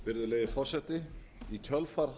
virðulegi forseti í kjölfar